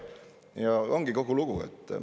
Ja ongi kogu lugu.